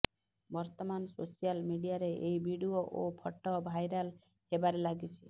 ବର୍ତ୍ତମାନ ସୋସିଆଲ ମିଡ଼ିଆରେ ଏହି ଭିଡ଼ିଓ ଓ ଫଟୋ ଭାଇରାଲ୍ ହେବାରେ ଲାଗିଛି